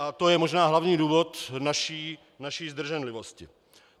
A to je možná hlavní důvod naší zdrženlivosti.